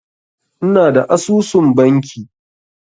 Ina da asusun banki.